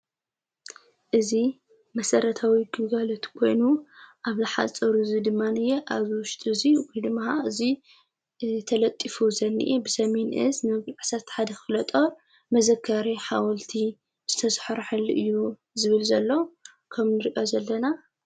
እዝ መሠረታዊ ጕጋለት ኮይኑ ኣብ ላሓ ፀውሩ እዙይ ድማንእየ ኣብ ዉሽጢ እዙይ ዊን ምሃ እዙይ ተለጢፉ ዘኒኢ ብሰምንእዝ መብልዕሰት ሓደ ኽሎጦር መዘካሬ ሓወልቲ ዝተሠሖር ሐሊ እዩ ዝብል ዘሎ ከም ንርእዮ ዘለና።